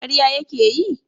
karya ya ke yi?